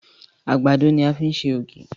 Àgbàdo ní a fi ṣe ògì.